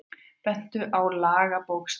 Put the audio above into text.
Bentu á lagabókstafinn